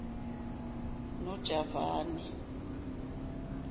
nojavani